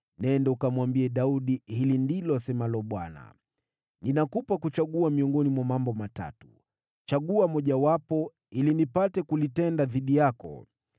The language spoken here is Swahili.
“Nenda ukamwambie Daudi, hivi ndivyo asemavyo Bwana: ‘Ninakupa wewe uchaguzi wa mambo matatu. Nichagulie mojawapo nitakalotenda dhidi yako.’ ”